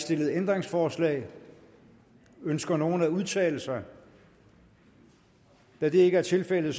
stillet ændringsforslag ønsker nogen at udtale sig da det ikke er tilfældet